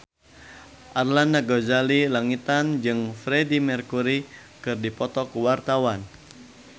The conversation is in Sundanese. Arlanda Ghazali Langitan jeung Freedie Mercury keur dipoto ku wartawan